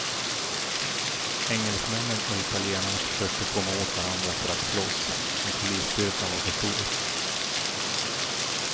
Engelsmännen och italienarna försökte komma åt varandra för att slåss, men polisstyrkan var för stor.